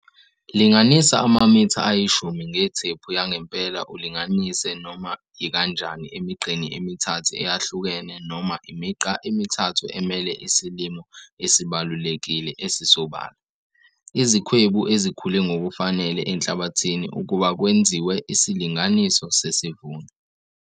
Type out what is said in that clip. Linganisa amamitha ayishumi ngethephu yangempela ulinganise noma yikanjani emigqeni emithathu eyahlukene noma imigqa emithathu emele isilimo esibalulekile esisobala, izikhwebu ezikhule ngokufanele enhlabathini ukuba kwenziwe isilinganiso sesivuno.